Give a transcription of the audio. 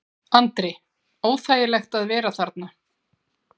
Andri: Óþægilegt að vera þarna?